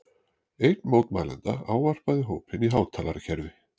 Einn mótmælenda ávarpaði hópinn í hátalarakerfi